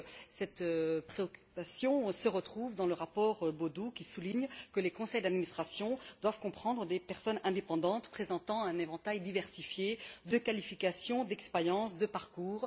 Cette préoccupation se trouve dans le rapport Bodu, qui souligne que les conseils d'administration doivent comprendre des personnes indépendantes présentant un éventail diversifié de qualifications, d'expérience et de parcours.